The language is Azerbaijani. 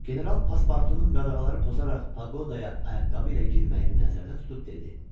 General pasportunun qadağaları pozaraq paqodaya ayaqqabı ilə girməyini nəzərdə tutub dedi.